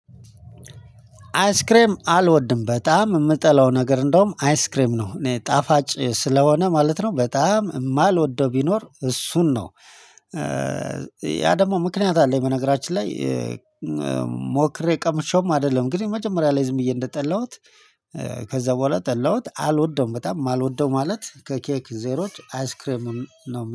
አይስክሬም አልወድም በጣም የምጠላው ነገር እንደውም አይስክሬም ነው እኔ ጣፋጭ ስለሆነ ማለት ነው በጣም የማልወደው ቢኖር እሱን ነው። ያ ደግሞ ምክንያት አለኝ በነገራችን ላይ ሞክሬ ቀምሼውም አይደለም። ግን የመጀመሪያ ላይ ዝም ብዬ እንደጠላሁት ከዛ በኋላ ጠላሁት አልወደውም በጣም የማልወደው ማለት ከኬክ ዜሮች አይስክሬምም ነው።